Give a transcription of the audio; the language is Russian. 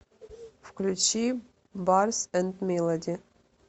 включи барс энд милоди